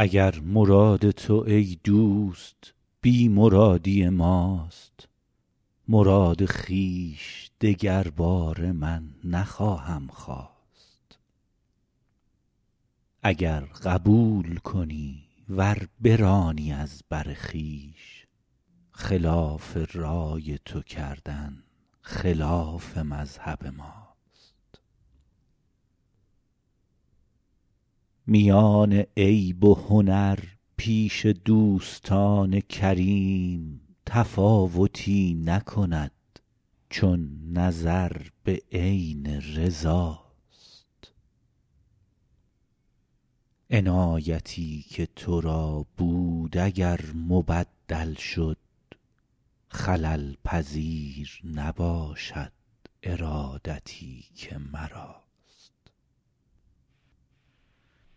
اگر مراد تو ای دوست بی مرادی ماست مراد خویش دگرباره من نخواهم خواست اگر قبول کنی ور برانی از بر خویش خلاف رای تو کردن خلاف مذهب ماست میان عیب و هنر پیش دوستان کریم تفاوتی نکند چون نظر به عین رضا ست عنایتی که تو را بود اگر مبدل شد خلل پذیر نباشد ارادتی که مراست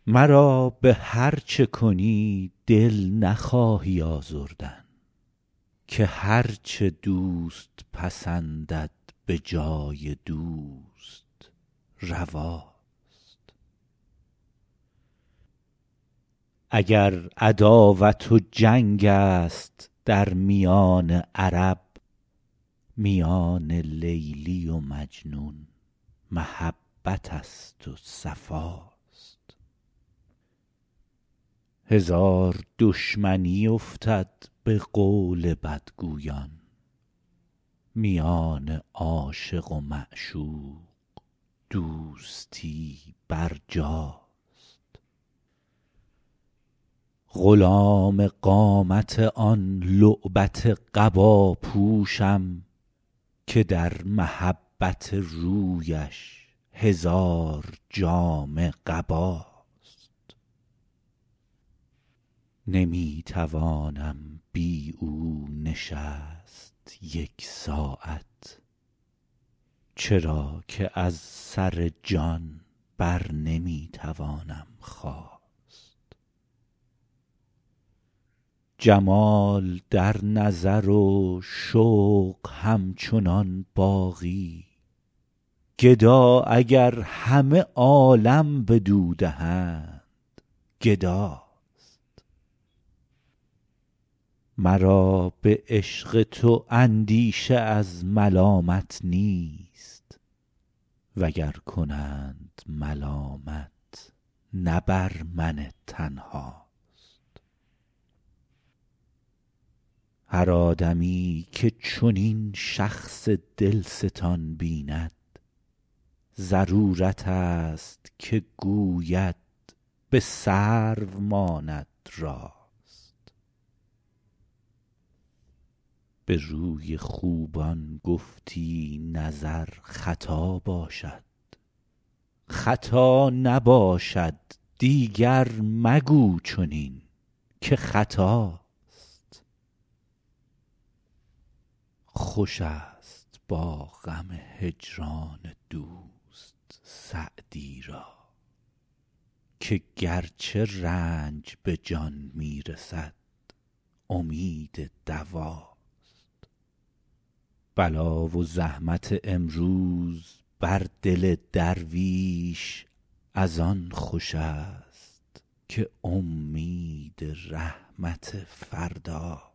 مرا به هر چه کنی دل نخواهی آزردن که هر چه دوست پسندد به جای دوست روا ست اگر عداوت و جنگ است در میان عرب میان لیلی و مجنون محبت است و صفا ست هزار دشمنی افتد به قول بدگویان میان عاشق و معشوق دوستی برجاست غلام قامت آن لعبت قبا پوشم که در محبت رویش هزار جامه قباست نمی توانم بی او نشست یک ساعت چرا که از سر جان بر نمی توانم خاست جمال در نظر و شوق همچنان باقی گدا اگر همه عالم بدو دهند گدا ست مرا به عشق تو اندیشه از ملامت نیست و گر کنند ملامت نه بر من تنها ست هر آدمی که چنین شخص دل ستان بیند ضرورت است که گوید به سرو ماند راست به روی خوبان گفتی نظر خطا باشد خطا نباشد دیگر مگو چنین که خطاست خوش است با غم هجران دوست سعدی را که گرچه رنج به جان می رسد امید دوا ست بلا و زحمت امروز بر دل درویش از آن خوش است که امید رحمت فردا ست